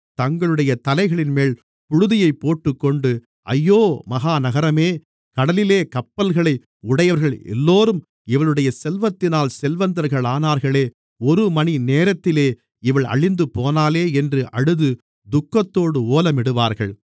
தங்களுடைய தலைகளின்மேல் புழுதியைப் போட்டுக்கொண்டு ஐயோ மகா நகரமே கடலிலே கப்பல்களை உடையவர்கள் எல்லோரும் இவளுடைய செல்வத்தினால் செல்வந்தர்களானார்களே ஒருமணி நேரத்திலே இவள் அழிந்துபோனாளே என்று அழுது துக்கத்தோடு ஓலமிடுவார்கள்